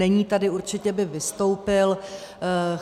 Není tady, určitě by vystoupil.